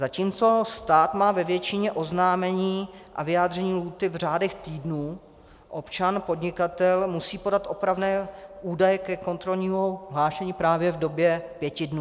Zatímco stát má ve většině oznámení a vyjádření lhůty v řádech týdnů, občan podnikatel musí podat opravné údaje ke kontrolnímu hlášení právě v době pěti dnů.